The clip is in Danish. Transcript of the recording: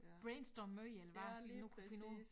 Brainstorm møde eller hvad de nu kunne finde på